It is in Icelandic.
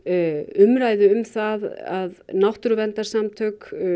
umræðu um það að náttúruverndarsamtök